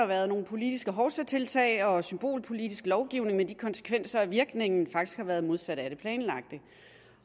været nogle politiske hovsatiltag og symbolpolitisk lovgivning med den konsekvens at virkningen faktisk har været den modsatte af det planlagte